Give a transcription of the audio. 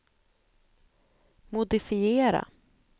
modifiera